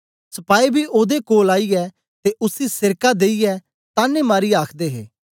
सपाई बी ओदे कोल आईयै ते उसी सेरका देईयै तान्ने मारीयै आखदे हे